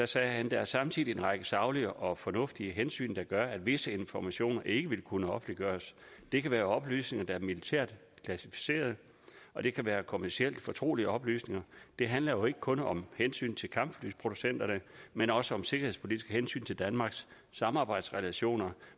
sagde der er samtidig en række saglige og fornuftige hensyn der gør at visse informationer ikke vil kunne offentliggøres det kan være oplysninger der er militært klassificeret og det kan være kommercielt fortrolige oplysninger det handler ikke kun om hensyn til kampflyproducenterne men også om sikkerhedspolitiske hensyn til danmarks samarbejdsrelationer